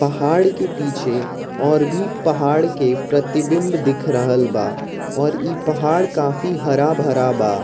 पहाड़ के पीछे और भी पहाड़ के प्रतिबिम्ब दिख रहल बा और ई पहाड़ काफी हरा भरा बा।